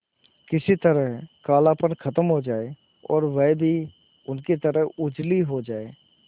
किसी तरह कालापन खत्म हो जाए और वह भी उनकी तरह उजली हो जाय